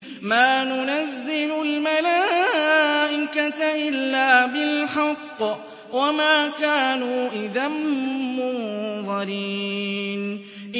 مَا نُنَزِّلُ الْمَلَائِكَةَ إِلَّا بِالْحَقِّ وَمَا كَانُوا إِذًا مُّنظَرِينَ